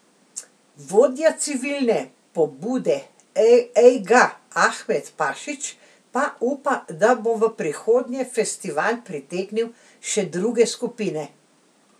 Vodja civilne pobude Ejga Ahmed Pašić pa upa, da bo v prihodnje festival pritegnil še druge skupine.